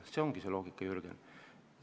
Selles ongi loogika, Jürgen.